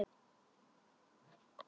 Og beitti öllu því til sem hún kunni.